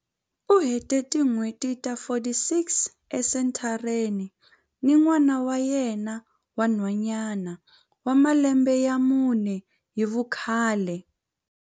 U hete tin'hweti ta 46 esenthareni ni n'wana wa yena wa nhwanyana wa malembe ya mune hi vukhale.